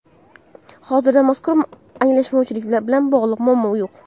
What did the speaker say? Hozirda mazkur anglashilmovchilik bilan bog‘liq muammo yo‘q.